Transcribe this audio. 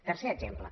tercer exemple